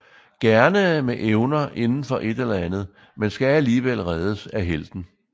Gerne med evner indenfor et eller andet men skal alligevel reddes af helten